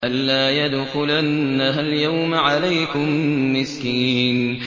أَن لَّا يَدْخُلَنَّهَا الْيَوْمَ عَلَيْكُم مِّسْكِينٌ